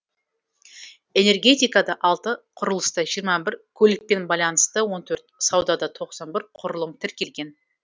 энергетикада алты құрылыста жиырма бір көлікпен байланысты он төрт саудада тоқсан бір құрылым тіркелген